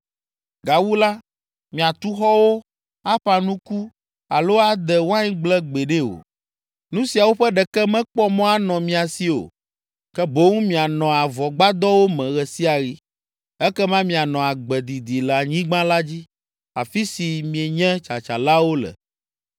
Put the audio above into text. Gawu la, miatu xɔwo, aƒã nuku alo ade waingble gbeɖe o; nu siawo ƒe ɖeke mekpɔ mɔ anɔ mia si o, ke boŋ mianɔ avɔgbadɔwo me ɣe sia ɣi. Ekema mianɔ agbe didi le anyigba la dzi, afi si mienye tsatsalawo le.’